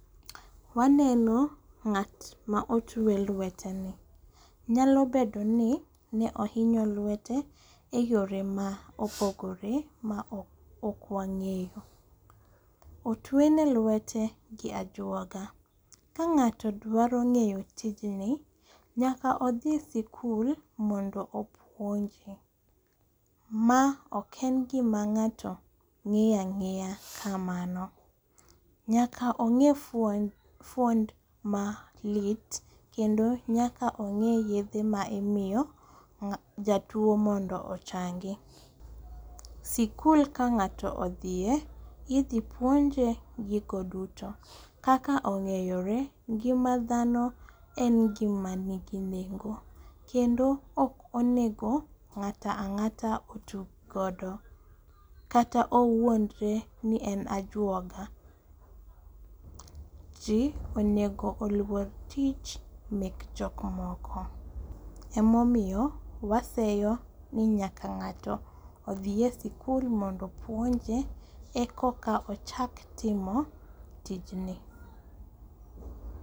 Waneno ng'at ma otuwe lweteni, nyalo bedoni ne ohinyo lwete e yore ma opogore ma ok wang'eyo. Otwene lwete gi ajuoga, ka g'ato dwaro ng'eyo tijni, nyaka odhi sikul mondo opuoje, ma ok en gima ng'ato ng'iyo ang'iya kamano. nyaka ong'e fwond malit kendo nyaka ong'e yedhe ma imiyo jatuwo mondo ochangi. sikul ka ng'ato odhiye, idhi puoje gigo duto kaka ong'eyore, ngima dhano en gima nigi nengo, kendo ok onego ng'ato ang'ata otug godo kata owuodre ni en ajuoga. Ji onego oluor tich mek jok moko, emomiyo waseyo ni nyaka ng'ato odhi e sikul mondo opuonje eka ochak timo tijni.